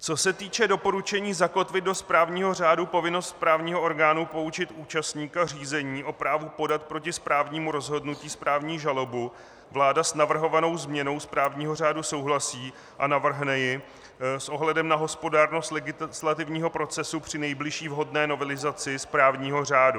Co se týče doporučení zakotvit do správního řádu povinnost správního orgánu poučit účastníka řízení o právu podat proti správnímu rozhodnutí správní žalobu, vláda s navrhovanou změnou správního řádu souhlasí a navrhne ji s ohledem na hospodárnost legislativního procesu při nejbližší vhodné novelizaci správního řádu...